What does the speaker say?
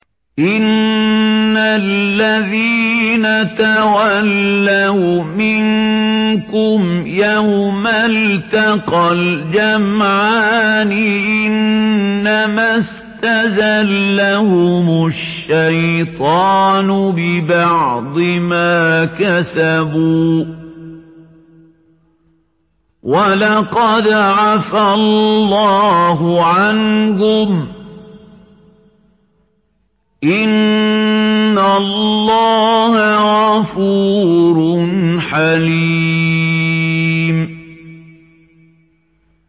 إِنَّ الَّذِينَ تَوَلَّوْا مِنكُمْ يَوْمَ الْتَقَى الْجَمْعَانِ إِنَّمَا اسْتَزَلَّهُمُ الشَّيْطَانُ بِبَعْضِ مَا كَسَبُوا ۖ وَلَقَدْ عَفَا اللَّهُ عَنْهُمْ ۗ إِنَّ اللَّهَ غَفُورٌ حَلِيمٌ